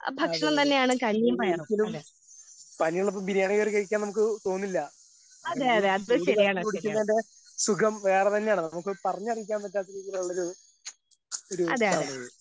അതെയതെ ഇത് ഒരിക്കലും പനിയുള്ളപ്പോ ബിരിയാണി കേറി കഴിക്കാൻ നമുക്ക് തോന്നില്ലാ ആ കഞ്ഞീം ചൂട് കാപ്പി കുടിക്കുന്നേന്റെ സുഖം വേറെ തന്നെയാണ് നമുക്ക് പറഞ്ഞറിയിക്കാൻ പറ്റാത്ത രീതീലുള്ളൊരു ഒരു ഇതാണിത്.